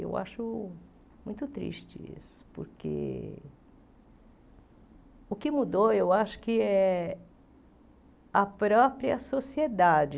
Eu acho muito triste isso, porque o que mudou, eu acho que é a própria sociedade.